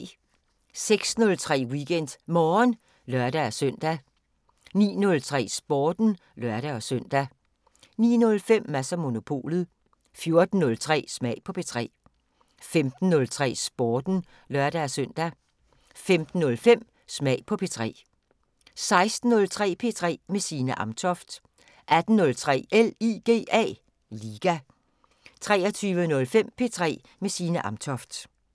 06:03: WeekendMorgen (lør-søn) 09:03: Sporten (lør-søn) 09:05: Mads & Monopolet 14:03: Smag på P3 15:03: Sporten (lør-søn) 15:05: Smag på P3 16:03: P3 med Signe Amtoft 18:03: LIGA 23:05: P3 med Signe Amtoft